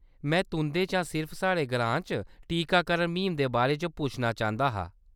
में तुंʼदे शा सिर्फ साढ़े ग्रां च टीकाकरण म्हीम दे बारे च पुच्छना चांह्‌‌‌दा हा।